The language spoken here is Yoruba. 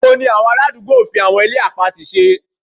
Oko ni àwọn ará àdúgbò fi àwọn ilẹ̀ àpatì ṣe